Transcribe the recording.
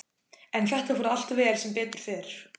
En þetta fór allt vel, sem betur fer.